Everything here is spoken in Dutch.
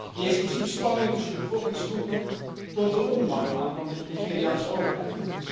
Die explosieve spanningen tussen de bevolkingsgroepen toont de onmacht aan van de Nigeriaanse overheid.